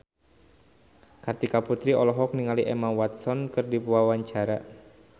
Kartika Putri olohok ningali Emma Watson keur diwawancara